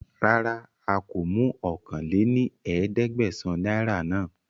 Rárá a kó mú ọ̀kan lé ní ẹ̀ẹ́dẹ́gbẹ́sán náírà náà